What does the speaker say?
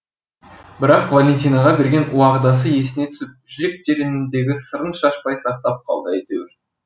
бірақ валентинаға берген уағдасы есіне түсіп жүрек тереңіндегі сырын шашпай сақтап қалды әйтеуір